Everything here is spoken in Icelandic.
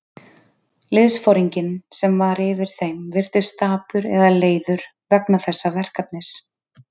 Liðsforinginn, sem var yfir þeim, virtist dapur eða leiður vegna þessa verkefnis.